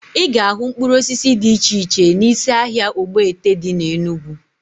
Ị ga-ahụ mkpụrụ osisi dị iche iche n'isi ahịa Ogbete dị na Enugwu